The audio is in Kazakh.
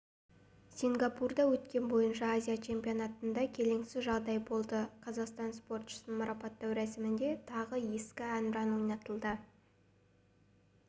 сингапурда өткен бойынша азия чемпионатында келеңсіз жағдай болды қазақстан спортшысын марапаттау рәсімінде тағы ескі әнұран ойнатылды